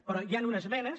però hi han unes esmenes